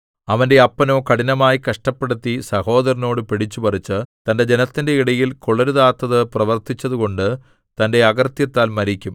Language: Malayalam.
അവന്റെ അപ്പനോ കഠിനമായി കഷ്ടപ്പെടുത്തി സഹോദരനോട് പിടിച്ചുപറിച്ച് തന്റെ ജനത്തിന്റെ ഇടയിൽ കൊള്ളരുതാത്തത് പ്രവർത്തിച്ചതുകൊണ്ട് തന്റെ അകൃത്യത്താൽ മരിക്കും